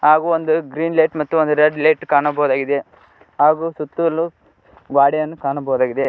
ಹಾಗು ಒಂದು green light ಮತ್ತು ಒಂದು ರೆಡ್ ಲೈಟ್ ಕಾಣಬಹುದಾಗಿದೆ ಹಾಗು ಸುತ್ತಲು ಗ್ವಾಡಿಯನ್ನು ಕಾಣಬೋದಾಗಿದೆ.